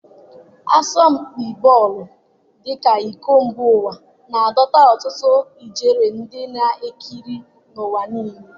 Asọmpi bọọlụ dị ka iko mba ụwa, na-adọta ọtụtụ ijeri ndị na-ekiri n'ụwa niile